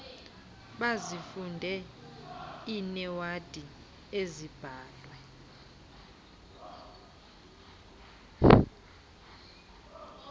bazifunde iinewadi ezibhalwe